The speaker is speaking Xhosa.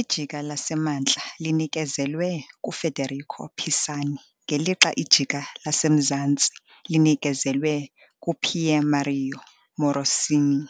Ijika laseMantla linikezelwe kuFederico Pisani ngelixa ijika laseMzantsi linikezelwe kuPiermario Morosini,